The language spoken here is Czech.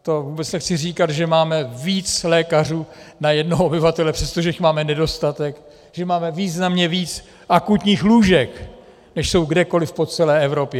To vůbec nechci říkat, že máme více lékařů na jednoho obyvatele, přestože jich máme nedostatek, že máme významně víc akutních lůžek, než jsou kdekoliv po celé Evropě.